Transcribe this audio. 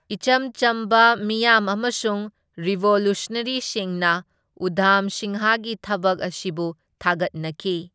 ꯏꯆꯝ ꯆꯝꯕ ꯃꯤꯌꯥꯝ ꯑꯃꯁꯨꯡ ꯔꯤꯚꯣꯂꯨꯁꯟꯅꯔꯤꯁꯤꯡꯅ ꯎꯙꯥꯝ ꯁꯤꯡꯍꯒꯤ ꯊꯕꯛ ꯑꯁꯤꯕꯨ ꯊꯥꯒꯠꯅꯈꯤ꯫